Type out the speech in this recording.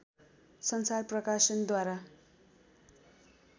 संसार प्रकाशनद्वारा